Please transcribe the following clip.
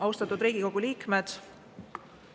Austatud Riigikogu liikmed!